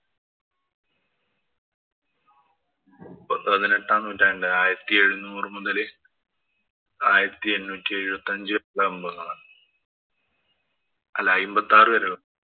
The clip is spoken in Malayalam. പതിനെട്ടാം നൂറ്റാണ്ടിലാണ്. ആയിരത്തി എഴുനൂറ് മുതല് ആയിരത്തി എണ്ണൂറ്റി വരെയുള്ള സംഭവങ്ങളാണ്. അല്ല അയ്മ്പത്തി ആറു വരെയുള്ള